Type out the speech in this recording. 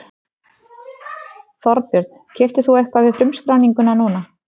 Þorbjörn: Keyptir þú eitthvað við frumskráninguna núna?